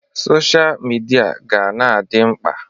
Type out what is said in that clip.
Sọsha mịdia ga-na adị mkpa.